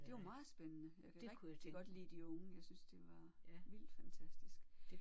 Det var meget spændende. Jeg kunne rigtig godt lide de unge jeg synes det var vildt fantastisk